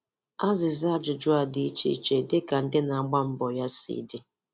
Azịza ajụjụ a dị iche iche dịka ndị na-agba mbọ ya si dị.